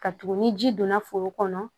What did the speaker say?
Ka tugun ni ji donna foro kɔnɔ